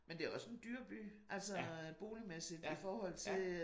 Men det også en dyr by altså boligmæssigt i forhold til øh